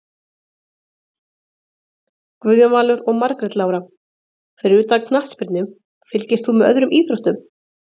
Guðjón Valur og Margrét Lára Fyrir utan knattspyrnu, fylgist þú með öðrum íþróttum?